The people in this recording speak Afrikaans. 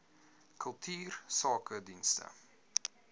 kultuursakedienste